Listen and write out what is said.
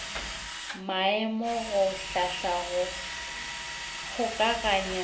maemo go hlahla go kgokaganya